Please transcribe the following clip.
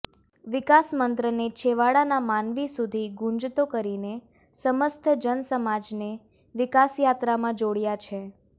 વિકાસમંત્રને છેવાડાના માનવી સુધી ગુંજતો કરીને સમસ્ત જનસમાજને વિકાસયાત્રામાં જોડયા છે